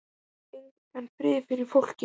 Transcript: Ég fæ engan frið fyrir fólki.